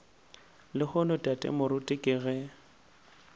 lehono tate moruti ke ge